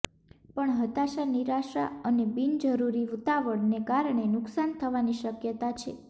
પણ હતાશા નિરાશા અને બિન જરૂરી ઉતાવળ ને કારણે નુકશાન થવાની શક્યતા છે